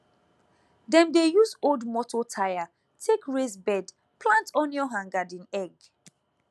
dem dey use old moto tyre take raise bed plant onion and garden egg